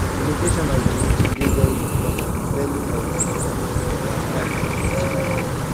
di location of di meeting dey very important depending of di depending of di type of meeting